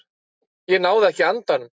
Ég náði ekki andanum.